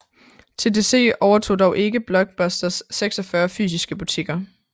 TDC overtog dog ikke Blockbusters 46 fysiske butikker